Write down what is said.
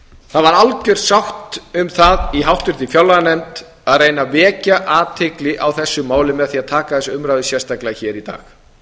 það var algjör sátt um það í háttvirtri fjárlaganefnd að reyna að vekja athygli á þessu máli með því að taka þessa umræðu sérstaklega hér í dag